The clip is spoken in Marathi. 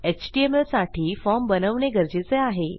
एचटीएमएल साठी फॉर्म बनवणे गरजेचे आहे